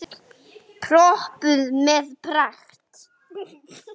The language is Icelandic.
Pompuð með pragt.